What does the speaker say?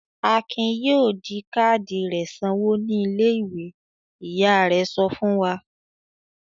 "Akin yóò di káádì rẹ̀ sanwó ní ilé-ìwé!" Ìyá rẹ̀ sọ fún wa.